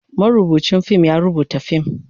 marubucin fim ya rubuta fim,